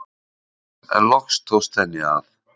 En loks tókst henni að.